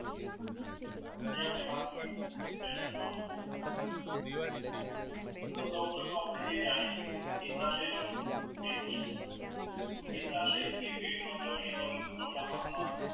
આજે આપણે વાત કરીસું તો સૌપ્રથમ આપણે એ જાણીએ એ પેટ માં જમણી બાજુ ના ઉપર ના ભાગ માં